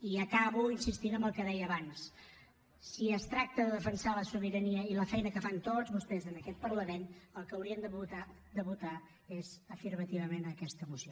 i acabo insistint en el que deia abans si es tracta de defensar la sobirania i la feina que fan tots vostès en aquest parlament el que haurien de votar és afirmativament a aquesta moció